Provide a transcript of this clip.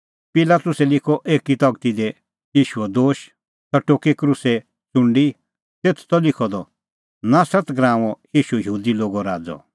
पिलातुसै लिखअ एकी तगती दी ईशूओ दोश और सह टोकी क्रूसे च़ुंडी तेथ त लिखअ द नासरत नगरीओ ईशू यहूदी लोगो राज़अ